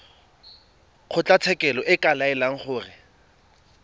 kgotlatshekelo e ka laela gore